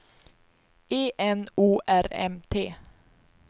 E N O R M T